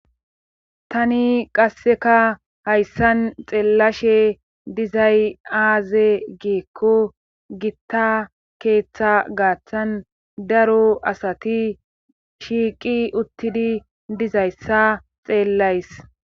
Tani qasseka hayssan xeellashe dizay aaze geekko gitta keeththa gaaththan daro asati shiiqi uttidi dizayssa xeellays.